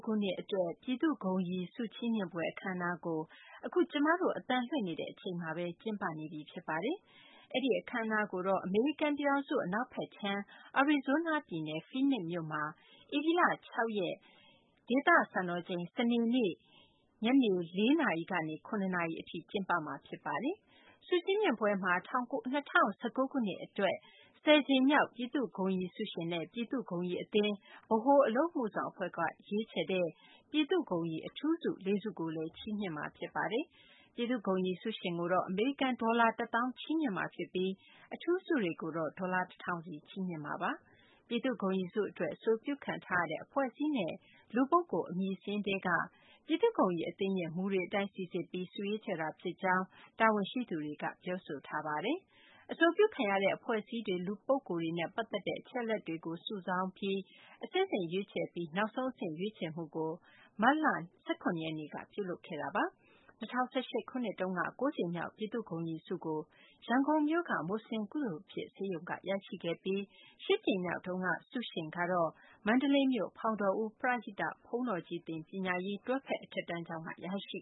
ခုနှစ်အတွက် ပြည်သူ့ဂုဏ်ရည်ဆု ချီးမြှင့်ပွဲ အခမ်းအနားကို မကြာမီနာရီပိုင်းအတွင်းမှာပဲ ကျင်းပတော့မှာ ဖြစ်ပါတယ်။ အဲဒီ အခမ်းအနားကို အမေရိကန်ပြည်ထောင်စု အနောက်ဘက်ခြမ်း အရီဇိုးနားပြည်နယ် ဖီးနစ်မြို့မှာ ဧပြီလ (၆)ရက် စနေနေ့ ဒေသစံတော်ချိန် ၄ နာရီကနေ ၇ နာရီအတွင်း ကျင်းပမှာပါ။ ဆု ချီးမြှင့်ပွဲမှာ ၂၀၁၉ ခုနှစ်အတွက် (၁၀) ကြိမ်မြောက် ပြည်သူ့ဂုဏ်ရည်ဆုရှင်နဲ့ ပြည်သူ့ဂုဏ်ရည်အသင်း ဗဟိုအလုပ်အမှုဆောင်အဖွဲ့က ရွေးချယ်တဲ့ ပြည်သူ့ဂုဏ်ရည် (အထူးဆု) ၄ ဆုကိုလည်း ချီးမြှင့်မှာ ဖြစ်ပါတယ်။ ပြည်သူ့ဂုဏ်ရည်ဆုရှင်ကိုတော့ အမေရိကန်ဒေါ်လာ တစ်သောင်း ချီးမြှင့်မှာဖြစ်ပြီး အထူးဆုတွေကိုတော့ ဒေါ်လာ တစ်ထောင်စီ ချီးမြှင့်မှာပါ။ ပြည်သူ့ဂုဏ်ရည်ဆုအတွက် အဆိုပြုခံထားရတဲ့ အဖွဲ့အစည်းနဲ့ လူပုဂ္ဂိုလ် အမည်စာရင်းထဲက ပြည်သူ့ဂုဏ်ရည်အသင်းရဲ့ မူတွေအတိုင်းစိစစ်ပြီး ဆုရွေးချယ်တာ ဖြစ်ကြောင်း တာဝန်ရှိသူတွေက ပြောပါတယ်။ အဆိုပြုခံရတဲ့ အဖွဲ့အစည်းတွေ လူပုဂ္ဂိုလ်တွေနဲ့ ပတ်သက်တဲ့ အချက်အလက်တွေကို စုဆောင်းတာပြီး အဆင့်ဆင့် ရွေးချယ်ပြီးမှ နောက်ဆုံးအဆင့် ရွေးချယ်မှုကို မတ်လ ၁၇ ရက်နေ့မှာ ပြုလုပ်ခဲ့တာပါ။ ၂၀၁၈ ခုနှစ်တုန်းက ၉ ကြိမ်မြောက် ပြည်သူ့ဂုဏ်ရည်ဆုကို ရန်ကုန်မြို့က မူဆလင်ကုသိုလ်ဖြစ်ဆေးရုံက ရရှိခဲ့ပြီး ၈ ကြိမ်မြောက်တုန်းက ဆုရှင်ကိုတော့ မန္တလေးမြို့က ဖောင်တော်ဦး ပရဟိတ ဘုန်းတော်ကြီးသင် ပညာရေး တွဲဖက်အထက်တန်းကျောင်းက ရရှိ